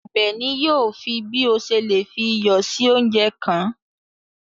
Àbèní yóò fí bí o ṣè lè fí iyọ sí ọ̀unjẹ kan.